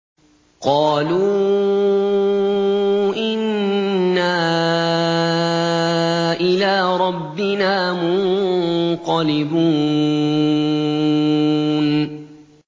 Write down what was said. قَالُوا إِنَّا إِلَىٰ رَبِّنَا مُنقَلِبُونَ